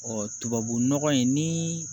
tubabunɔgɔ in ni